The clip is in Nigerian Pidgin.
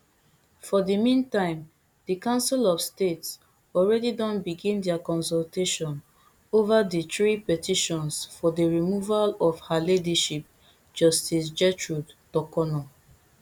for di meantime di council of state already don begin dia consultation ova di three petitions for di removal of her ladyship justice gertrude torkonoo